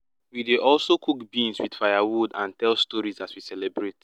we dey also cook beans with firewood and tell stories as we celebrate